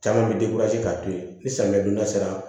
Caman bɛ k'a to yen ni samiyɛ donda sera